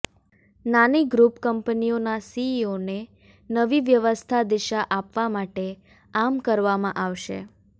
નાની ગ્રુપ કંપનીઓના સીઈઓને નવી વ્યવસ્થા દિશા આપવા માટે આમ કરવામાં આવશે